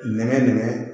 Nɛgɛ dama